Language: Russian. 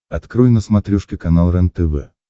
открой на смотрешке канал рентв